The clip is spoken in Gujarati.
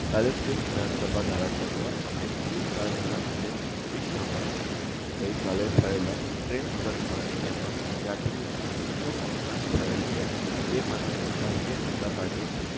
એલિસબ્રિજ વિધાનસભા ધારાસભ્ય અમિત બી શાહ જણાવિયું કે ઓડીસ્સા માં ગઈકાલે થયેલા ટ્રેન અકસ્માત જેમાં યાત્રી ઓ ના દુખદ અવસાન થયેલ છે તે માટે ભારતીય જનતાપાર્ટી